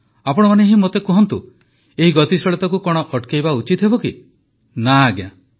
ଆପଣମାନେ ହିଁ ମୋତେ କୁହନ୍ତୁ ଏହି ଗତିଶୀଳତାକୁ କଣ ଅଟକାଇବା ଉଚିତ ହେବ କି ନା ଆଜ୍ଞା